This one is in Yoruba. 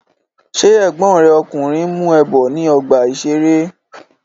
Ṣé ègbón rẹ ọkùnrin ń mú ẹ bọ̀ ní ọgbà-ìṣeré?